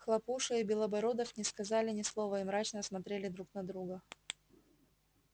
хлопуша и белобородов не сказали ни слова и мрачно смотрели друг на друга